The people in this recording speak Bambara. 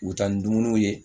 U bɛ taa ni dumuniw ye